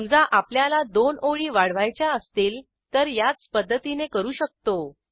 समजा आपल्याला दोन ओळी वाढवायच्या असतील तर याच पध्दतीने करू शकतो